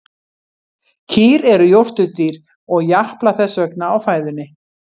Kýr eru jórturdýr og japla þess vegna á fæðunni.